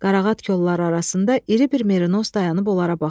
Qarağat kolları arasında iri bir merinos dayanıp onlara baxırdı.